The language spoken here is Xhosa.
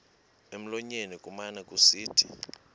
emlonyeni kumane kusithi